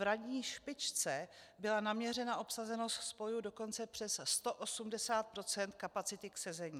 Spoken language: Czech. V ranní špičce byla naměřena obsazenost spojů dokonce přes 180 % kapacity k sezení.